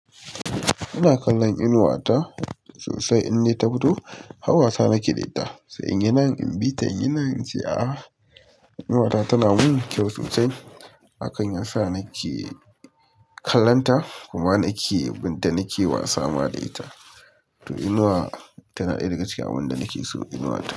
Ina kallon Inuwa ta sosai, in dai ta fito, har wasa nake da ita. Sai inyi nan in ɓita, inyi nan ince aa, inuwata tana gudu da kyau sosai. Hakan ya sa nake kallon ta kuma nake, binta nake wasa ma da ita. Toh nima tana daya daga cikin abinda nake so, inuwata.